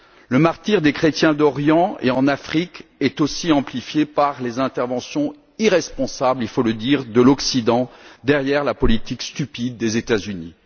Le martyr des chrétiens d'Orient et d'Afrique est aussi amplifié par les interventions irresponsables, il faut le dire, de l'Occident derrière la politique stupide des États Unis.